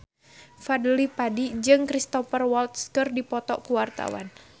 Fadly Padi jeung Cristhoper Waltz keur dipoto ku wartawan